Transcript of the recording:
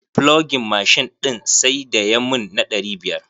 Flogin mashin ɗin sai da ya mun na ɗari biyar.